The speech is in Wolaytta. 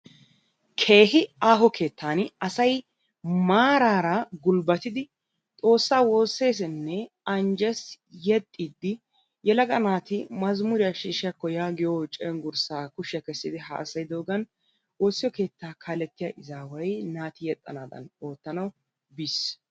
Keehi aaho keettan asay maaraara gunbbatidi xoossaa woosseesinne anjjes yexxiiddi yelaga naati mazmuriyaa shiishshiyaakko yaagiyoo cenggurssaa kushiyaa kessidi haasayidoogan woossiyo keettaa kaalettiya izaaway naati yexxanaadan oottanawu biis.